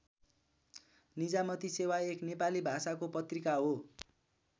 निजामती सेवा एक नेपाली भाषाको पत्रिका हो।